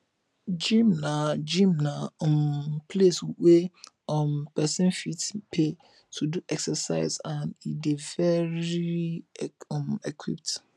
gym na gym na um place wey um persin fit pay to do exercise and e de very um equipped